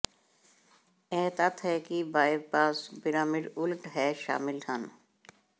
ਇਹ ਤੱਥ ਹੈ ਕਿ ਬਾਇਓਮਾਸ ਪਿਰਾਮਿਡ ਉਲਟ ਹੈ ਸ਼ਾਮਿਲ ਹਨ